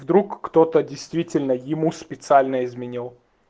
вдруг кто-то действительно ему специально изменил